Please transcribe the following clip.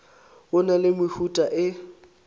go na le mehuta e